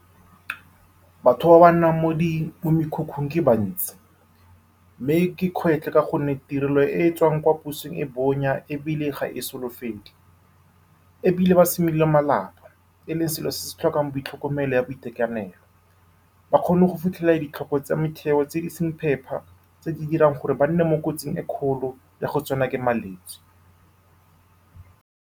Batho ba ba nnang mo di mo mekhukhung ke ba bantsi, mme ke kgwetlho ka gonne tirelo e e tswang kwa pusong e bonya ebile ga e solofele. Gape, ba simolola malapa, e leng selo se se tlhokang boitlhokomelo jwa boitekanelo, mme ga ba kgone go fitlhelela ditlhoko tsa metheo tse di seng phepa, tse di dirang gore ba nne mo kotsing e e kgolo ya go tsenwa ke malwetse.